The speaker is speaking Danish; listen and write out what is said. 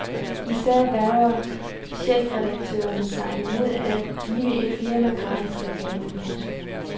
Især vægrer chefredaktørerne sig imod at give et firma gratis reklame. punktum